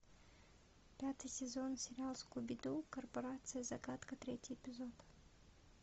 пятый сезон сериала скуби ду корпорация загадка третий эпизод